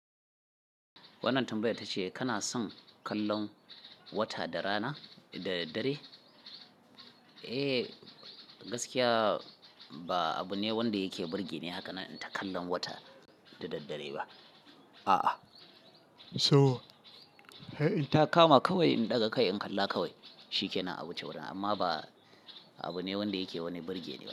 Wannan tambayar tace kana son kallon wata da rana da daddare? Eh, gaskiya ba abu ne wanda yake burge ni hakanan inta kallon wata da daddare ba. A'a. So in ta kama kawai in ɗaga kai in kalla kawai shikenan awuce wurin amma ba abu ne wanda yake wani burge ni ba.